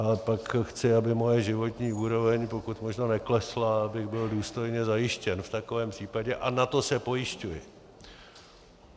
A pak chci, aby moje životní úroveň pokud možno neklesla, abych byl důstojně zajištěn v takovém případě, a na to se pojišťuji.